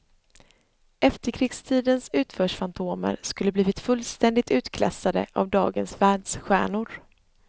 Efterkrigstidens utförsfantomer skulle blivit fullständigt utklassade av dagens världsstjärnor.